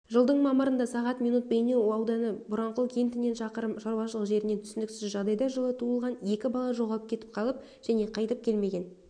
жылдың мамырында сағат минут бейнеу ауданы боранқұл кентінен шақырым шаруашылық жерінен түсініксіз жағдайда жылы туылған екі бала жоғалып кетіп қаллып және қайтып келмеген